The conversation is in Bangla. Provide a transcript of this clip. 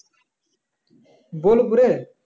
বোলপুরে?